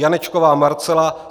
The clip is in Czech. Janečková Marcela